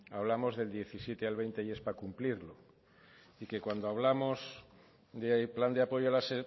hablamos del diecisiete al veinte y es para cumplirlo y que cuando hablamos de plan de apoyo a las